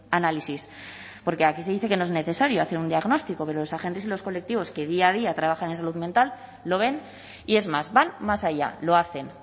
análisis porque aquí se dice que no es necesario hacer un diagnóstico pero los agentes y los colectivos que día a día trabajan en salud mental lo ven y es más van más allá lo hacen